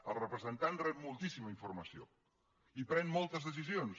el representant rep moltíssima informació i pren moltes decisions